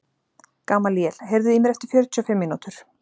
Gamalíel, heyrðu í mér eftir fjörutíu og fimm mínútur.